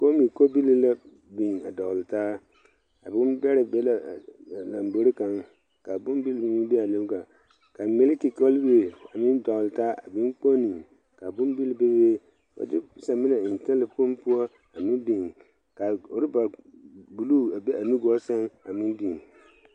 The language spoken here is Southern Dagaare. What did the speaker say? Komi kobilii la a dɔgle taa a bon bɛrɛ be la a lambore kaŋa kaa bonbil be aa beaa lombore kaŋ ka miliki kobilii a meŋ dɔgle taa a be bon kponne ka bonbil bebe de saminɛ eŋ talakpoŋ poɔ a meŋ biŋ ka rɔba bluu a be a nugɔɔ sɛŋ a meŋ biŋ.